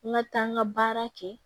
N ka taa n ka baara kɛ